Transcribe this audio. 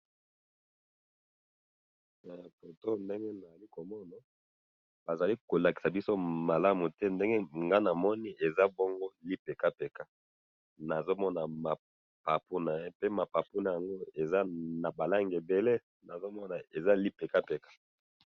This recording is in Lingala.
he foto oyo ndenge nazali komona bazali kolakisa biso malatu te ndenge ngayi namoni eza bongo lipekapeka nazo mona mapapu naye pe mapapu naye ezali naba langi ebele nazomona eza lipekapeka